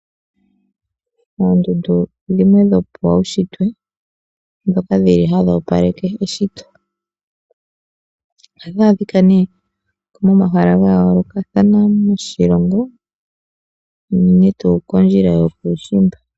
Oondundu odho dhimwe dhopaunshitwe, ndhoka dhili hadhi opaleke eshito. Ohadhi adhika ne momahala gayoolokathana goshilongo, unene tu kondjila yokuushimba.